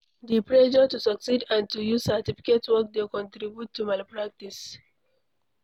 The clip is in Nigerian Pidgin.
The pressure to succeed and to use certificate work dey contribute to malpractice